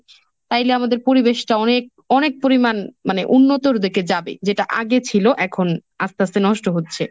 তাইলে আমাদের পরিবেশটা অনেক অনেক পরিমান মানে উন্নতর দিকে যাবে, যেটা আগে ছিল এখন আস্তে আস্তে নষ্ট হচ্ছে।